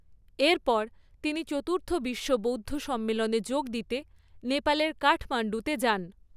এরপর তিনি চতুর্থ বিশ্ব বৌদ্ধ সম্মেলনে যোগ দিতে নেপালের কাঠমাণ্ডুতে যান।